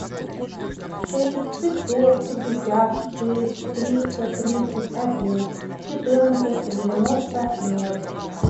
шесть пятьсот пятьдесят шесть триста тридцать один четырнадцать девяносто ноль